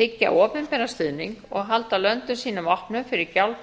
þiggja opinberan stuðning og halda löndum sínum opnum fyrir